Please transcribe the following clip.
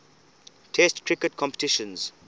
test cricket competitions